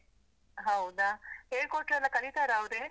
ಹೌದಾ, ಹೇಳ್ಕೊಟ್ರೆ ಎಲ್ಲ ಕಲಿತಾರ ಅವ್ರೇ?